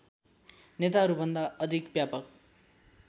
नेताहरूभन्दा अधिक व्यापक